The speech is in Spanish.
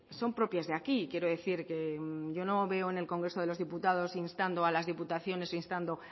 son propias de aquí quiero decir que yo no veo en el congreso de los diputados instando a las diputaciones o instando